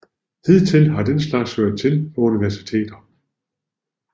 Hidtil har den slags hørt til på universiteter